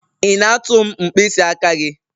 Ị na-atụ m mkpịsị aka gị?